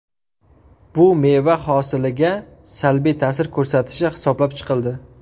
Bu meva hosiliga salbiy ta’sir ko‘rsatishi hisoblab chiqildi.